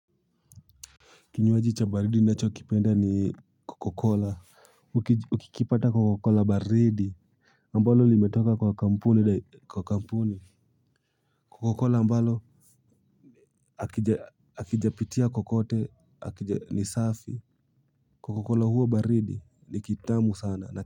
Kinywaji cha baridi ninacho kipenda ni coca cola. Ukikipata kwa coca cola baridi. Ambalo limetoka kwa kampuni. Coca cola ambalo akijapitia kokote. Ni safi. Coca cola huwa baridi na kitamu sana.